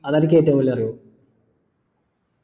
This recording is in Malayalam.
ഏറ്റവും വലിയ അറിവ്